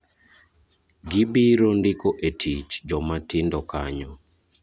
Gibiro ndiko e tich joma tindo kanyo.